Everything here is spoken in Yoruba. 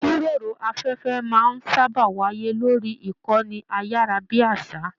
Ijíròrò afẹfẹ máa n sábà wáyé lórí ìkànnì ayarabiasa.